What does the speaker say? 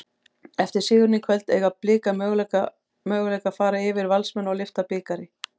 Eftir sigurinn í kvöld, eiga Blikar möguleika fara yfir Valsmenn og lyfta bikar?